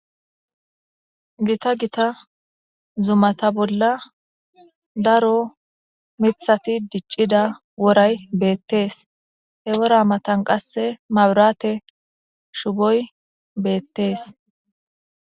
Gita gita zumata bolla daro mithati diccida woray beettees he wora matan qasse maburate shuboy beettees